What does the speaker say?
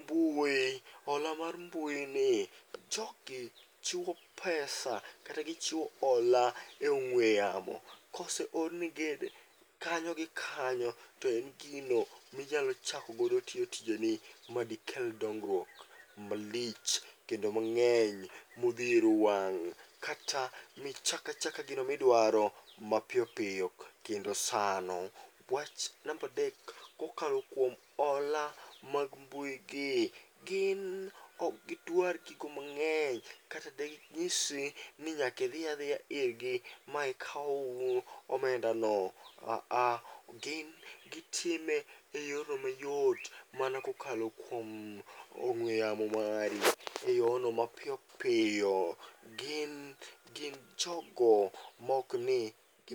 mbui, hola mar mbui ni, jogi chiwo pesa kata gichiwo hola e ong'we yamo. Koseorni gi kanyo gi kanyo to en gino minyalo chakogodo tiyo tijeni madikel dongruok malich kendo mang'eny modhiero wang'. Kata michakachaka gino miduaro, mapiyopiyo kendo sano. Wach nambadek, kokalo kuom hola mag mbui gi, gin ok gidwar gigo mang'eny kata degi ng'isi ni nyakidhiyadhiya irgi maikaw omendano. Aa, gin gitime e yorno mayot mana kokalo kuom ong'we yamo mari e yono mapiyo piyo. Gin gin jogo maokni gi.